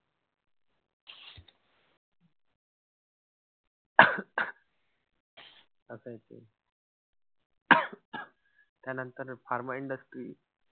असंय ते त्यानंतर pharma industry.